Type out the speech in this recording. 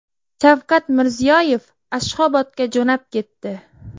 Shavkat Mirziyoyev Ashxobodga jo‘nab ketdi.